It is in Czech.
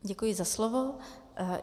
Děkuji za slovo.